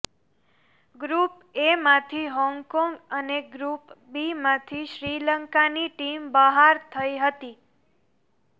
group એમાંથી Hong Kong અને group બીમાંથી શ્રીલંકાની ટીમ બહાર થઈ હતી